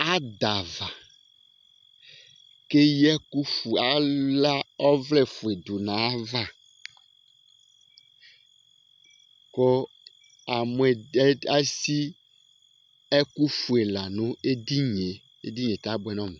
Adava kʋ ala ɔvlɛ ɔfʋe du nʋ ayʋ ava kʋ esi ɛkʋ fʋe la nʋ edini ye Amʋ edini ye abʋɛ nʋ ɔmu